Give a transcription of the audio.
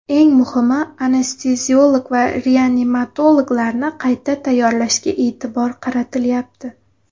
Eng muhimi, anesteziolog-reanimatologlarni qayta tayyorlashga e’tibor qaratilyapti.